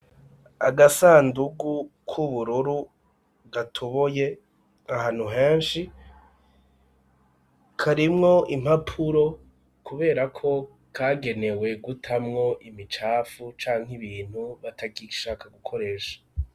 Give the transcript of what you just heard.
Agasandugu k'ubururu gatoboye ahantu henshi, karimwo impapuro kubera ko kagenewe gutamwo imicafu canke ibintu batagishaka gukoresha.